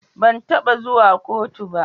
Ban taba zuwa kotu ba.